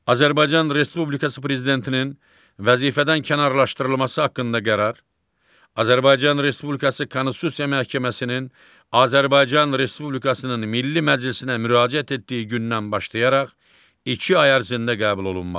Azərbaycan Respublikası Prezidentinin vəzifədən kənarlaşdırılması haqqında qərar Azərbaycan Respublikası Konstitusiya Məhkəməsinin Azərbaycan Respublikasının Milli Məclisinə müraciət etdiyi gündən başlayaraq iki ay ərzində qəbul olunmalıdır.